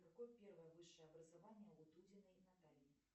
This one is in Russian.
какое первое высшее образование у дудиной натальи